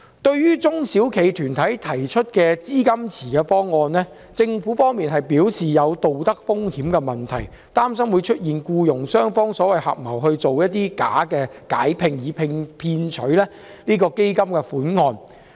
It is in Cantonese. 對於中小企團體提出資金池的方案，政府表示存在道德風險的問題，擔心僱傭雙方有可能合謀假解聘以騙取基金款項。